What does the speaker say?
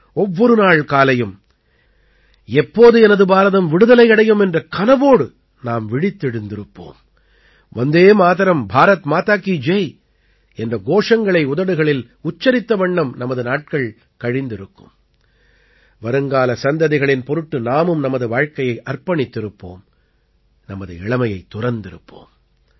ஒவ்வொரு நாள் காலையும் எப்போது எனது பாரதம் விடுதலை அடையும் என்ற கனவோடு நாம் விழித்தெழுந்திருப்போம் வந்தே மாதரம் பாரத் மாதா கீ ஜெய் என்ற கோஷங்களை உதடுகளில் உச்சரித்த வண்ணம் நமது நாட்கள் கழிந்திருக்கும் வருங்கால சந்ததிகளின் பொருட்டு நாமும் நமது வாழ்க்கையை அர்ப்பணித்திருப்போம் நமது இளமையைத் துறந்திருப்போம்